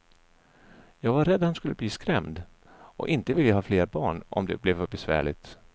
Jag var rädd att han skulle bli skrämd och inte vilja ha flera barn, om det blev för besvärligt.